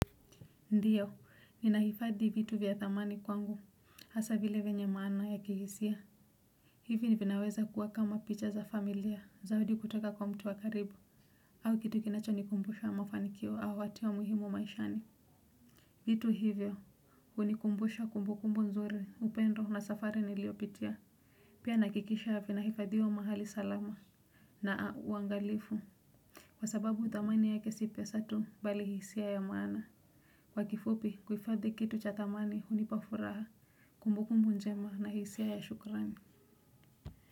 Ndiyo, ninahifadhi vitu vya thamani kwangu, hasa vile venye maana ya kihisia. Hivi ni vinaweza kuwa kama picha za familia zawadi kutoka kwa mtu wa karibu, au kitu kinachonikumbusha mafanikio au watu wa muhimu maishani. Vitu hivyo, hunikumbusha kumbukumbu nzuri, upendo na safari niliyopitia. Pia nahakikisha vinahifadhiwa mahali salama. Naa, uangalifu. Kwa sababu thamani yake si pesa tu bali hisia ya maana. Kwa kifupi kuhifadhi kitu cha thamani hunipa furaha kumbukumbu njema na hisia ya shukrani.